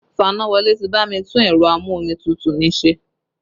Fanáwọlé ti bá mi tún ẹ̀rọ a-mú-omi-tútù mi ṣe